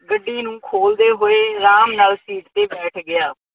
ਗੱਡੀ ਨੂੰ ਖੋਲ੍ਹਦੇ ਹੋਏ ਆਰਾਮ ਨਾਲ ਸੀਟ ਤੇ ਬੈਠ ਗਿਆ।